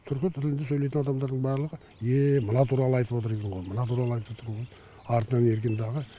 түркі тілінде сөйлейтін адамдардың барлығы еее мына туралы айтып отыр екен ғой мына туралы айтып отыр екен ғой артынан ерген дағы